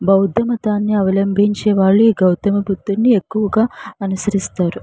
బౌద్ధ మతాన్ని అవలంబించే వాళ్ళు ఈ గౌతమ బుద్ధుడిని ఎక్కువుగా అనుసరిస్తారు.